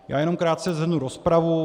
Já jenom krátce shrnu rozpravu.